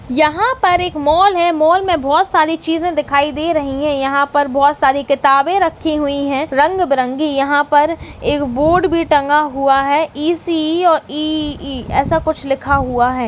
यहाँ पर एक मॉल है मॉल में बहोत सारी चीज़े दिखाई दे रही है यहाँ पर बहोत सारी किताबे रक्खी हुई है रंग बिरंगी यहाँ पर एक बोर्ड भी टंगा हुआ है इ सी इ और इ इ इ ऐसा कुछ लिखा हुआ है।